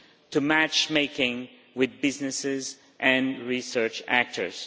to matchmaking with businesses and research actors.